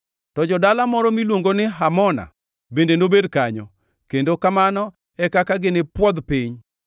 To dala moro miluongo ni Hamona bende nobed kanyo. Kendo kamano e kaka ginipwodh piny.’